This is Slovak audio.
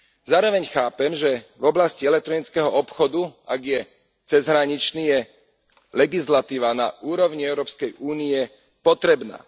Zároveň chápem, že v oblasti elektronického obchodu, ak je cezhraničný, je legislatíva na úrovni Európskej únie potrebná.